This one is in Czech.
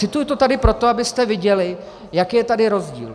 Cituji to tady proto, abyste viděli, jaký je tady rozdíl.